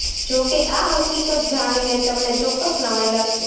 જો કે આ હકીકત જાણીને તમને ચોક્કસ નવાઈ લાગશે